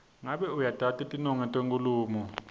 ngabe uyatati tinongo tenkhulumo